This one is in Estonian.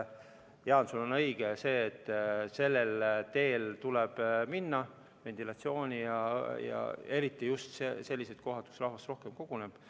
Jaa, õige on see, et sellele teele tuleb ventilatsiooniga minna, eriti just sellistes kohtades, kus rahvast rohkem koguneb.